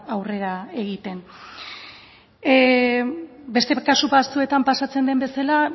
aurrera egiten beste kasu batzuetan pasatzen den bezala